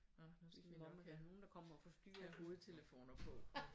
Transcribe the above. Nåh nu skal vi nok have hovedtelefoner på